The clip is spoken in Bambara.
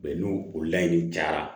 n'o o layidu cayara